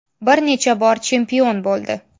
Bir necha bor chempion bo‘ldi.